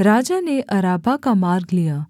राजा ने अराबा का मार्ग लिया